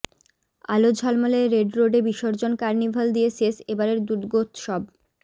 আলো ঝলমলে রেড রোডে বিসর্জন কার্নিভাল দিয়ে শেষ এবারের দুর্গোৎসব